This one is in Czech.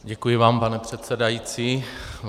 Děkuji vám, pane předsedající.